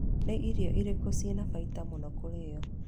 Nĩ irio irĩkũ ciĩ na baita mũno kũrĩwe?